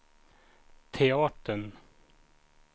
teatern